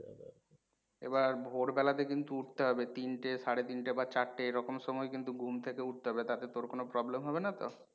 এবার ভোরবেলাতে কিন্তু উঠতে হবে তিনটে, সাড়ে তিনটে বা চারতে এরকম সময় কিন্তু ঘুম থেকে উঠতে হবে তাতে তোর কোনও problem হবে না তো?